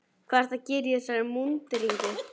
Hvað ertu að gera í þessari múnderingu?